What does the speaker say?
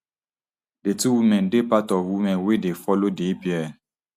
di two women dey part of women wey dey follow di epl